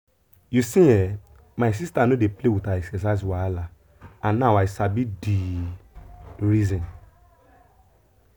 you see[um]my sister no dey play with her exercise wahala and now i sabi the reason.